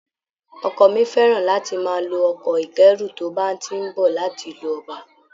Ọkọ mi fẹ́ràn láti máa lo ọkọ̀ ìkẹ́rú tó bá ti ń bọ̀ láti ìlú ọba